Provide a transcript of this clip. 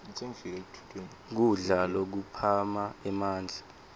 kudla lokuphana emandla